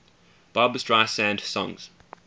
barbra streisand songs